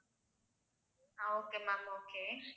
ah okay ma'am okay